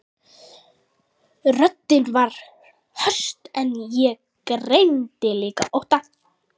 Röddin var höst en ég greindi líka ótta.